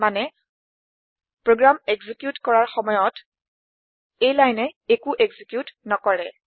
মানে program execute কৰাৰ সময়ত এই লাইনে একো একজিকিউট নকৰে